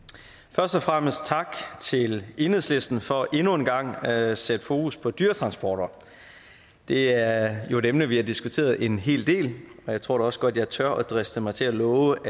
først og fremmest tak til enhedslisten for endnu en gang at sætte fokus på dyretransporter det er jo et emne vi har diskuteret en hel del og jeg tror da også godt at jeg tør driste mig til at love